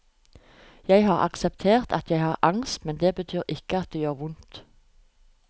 Jeg har akseptert at jeg har angst, men det betyr ikke at det ikke gjør vondt.